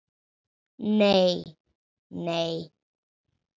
Nei, nei.